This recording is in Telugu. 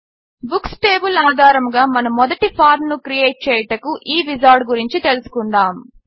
బుక్స్ టేబిల్ ఆధారముగా మన మొదటి ఫార్మ్ ను క్రియేట్ చేయుటకు ఈ విజార్డ్ గురించి తెలుసుకుందాము